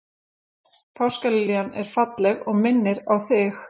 Páskaliljan er falleg og minnir á þig.